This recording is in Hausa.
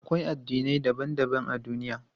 Akwai addinai daban daban a duniya.